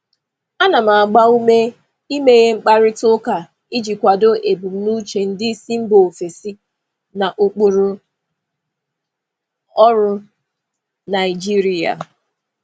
Ana m agba ume imeghe mkparịta ụka iji kwado ebumnuche ndị isi mba ofesi na ụkpụrụ ọrụ Naijiria.